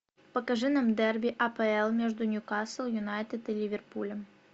покажи нам дерби апл между ньюкасл юнайтед и ливерпулем